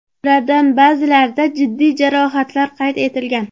Ulardan ba’zilarida jiddiy jarohatlar qayd etilgan.